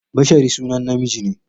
Bashari sunan namiji ne.